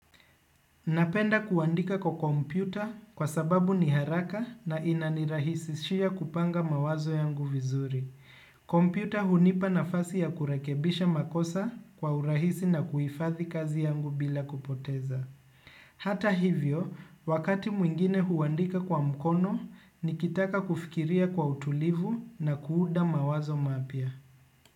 Napenda kuandika kwa kompyuta kwa sababu ni haraka na inanirahisishia kupanga mawazo yangu vizuri. Kompyuta hunipa nafasi ya kurekebisha makosa kwa urahisi na kuhifadhi kazi yangu bila kupoteza. Hata hivyo, wakati mwingine huandika kwa mkono, nikitaka kufikiria kwa utulivu na kuunda mawazo mapya.